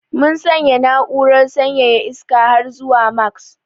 Mun sanya na'urar sanyaya iska har zuwa max.